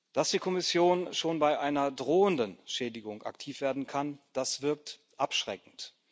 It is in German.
Dass die Kommission schon bei einer drohenden Schädigung aktiv werden kann, das wirkt abschreckend.